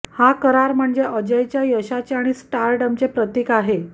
हा करार म्हणजे अजयच्या यशाचे आणि स्टारडमचे प्रतीक आहे